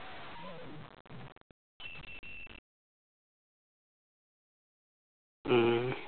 হম